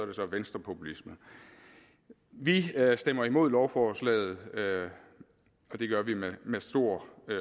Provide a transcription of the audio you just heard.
det så venstrepopulisme vi stemmer imod lovforslaget og det gør vi med stor